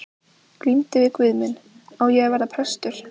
Glímdi við guð minn: Á ég að verða prestur?